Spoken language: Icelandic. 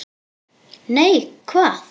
Nei, hvað?